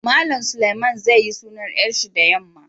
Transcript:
Mallam Suleiman zai yi sunan yar shi da yamma.